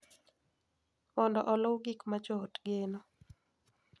Mondo oluw gik ma joot geno.